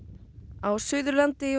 á Suðurlandi og